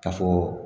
Ka fɔ